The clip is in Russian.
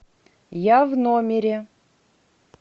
я в номере